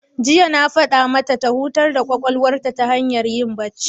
Jiya na faɗa mata ta hutar da ƙwaƙwalwar ta hanyar yin bacci.